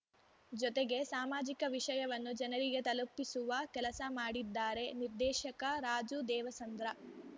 ಜೊತೆಗೆ ಸಾಮಾಜಿಕ ವಿಷಯವನ್ನು ಜನರಿಗೆ ತಲುಪಿಸುವ ಕೆಲಸ ಮಾಡಿದ್ದಾರೆ ನಿರ್ದೇಶಕ ರಾಜು ದೇವಸಂದ್ರ